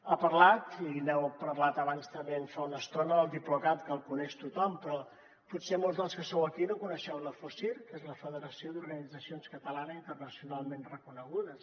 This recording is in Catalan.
ha parlat i n’heu parlat abans també fa una estona del diplocat que el coneix tothom però potser molts dels que sou aquí no coneixeu la focir que és la federació d’organitzacions catalanes internacionalment reconegudes